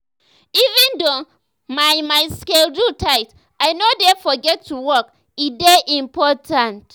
even though my my schedule tight i no dey forget to walk e dey important.